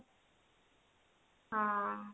ହଁ